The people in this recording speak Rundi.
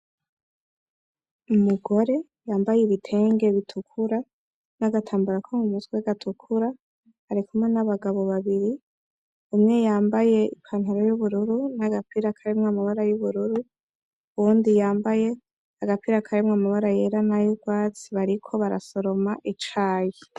Umugore yambaye ibitenge b'itukura n'agatambara ko mumutwe gatukura arikumwe n'abagabo babiri , umwe yambaye ipantaro y'ubururu n'agapira karimwo amabara y'ubururu, uwundi yambaye agapira karimwo amabara yera nay'urwatsi bariko barasoroma icayi.